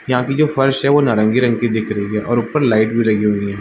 यहाँ की जो फ़र्श हैं वो नारंगी रंग की दिख रही हैं और उपर लाइट भी लगी हुई हैं।